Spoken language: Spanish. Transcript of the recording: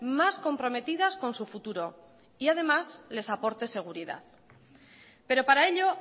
más comprometidas con su futuro y además les aporte seguridad pero para ello